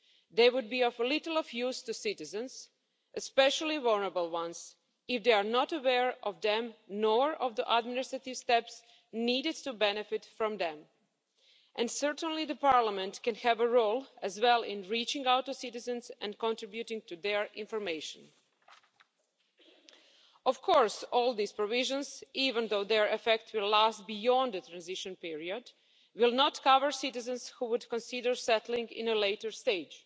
They would be of little use to citizens, especially vulnerable ones, if they are not aware of them, nor of the administrative steps needed to benefit from them. And certainly, Parliament can also play a role in reaching out to citizens and contributing to their information. Of course all these provisions even though their effect will last beyond the transition period will not cover citizens who would consider settling at a later stage.